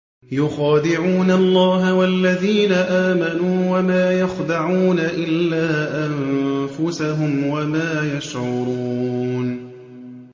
يُخَادِعُونَ اللَّهَ وَالَّذِينَ آمَنُوا وَمَا يَخْدَعُونَ إِلَّا أَنفُسَهُمْ وَمَا يَشْعُرُونَ